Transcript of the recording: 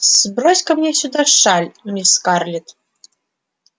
сбрось-ка мне сюда шаль мисс скарлетт